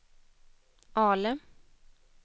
Ale